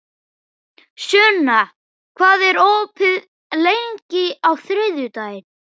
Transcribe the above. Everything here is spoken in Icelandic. Sunna, hvað er opið lengi á þriðjudaginn?